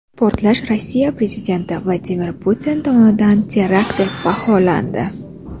Portlash Rossiya prezidenti Vladimir Putin tomonidan terakt deb baholandi.